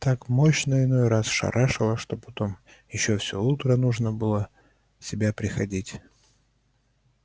так мощно иной раз шарашило что потом ещё все утро нужно было в себя приходить